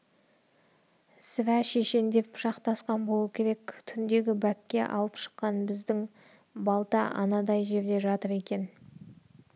сірә шешендер пышақтасқан болу керек түндегі бәкке алып шыққан біздің балта анадай жерде жатыр екен